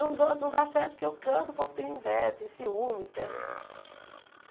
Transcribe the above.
Não do não dá certo porque eu canto, o povo tem inveja, tem ciúmes, né?